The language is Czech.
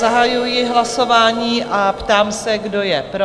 Zahajuji hlasování a ptám se, kdo je pro?